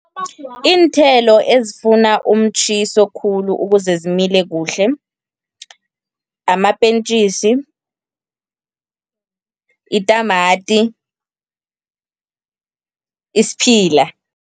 Iinthelo ezifuna umtjhiso khulu ukuze zimile kuhle, amapentjisi, itamati, isiphila.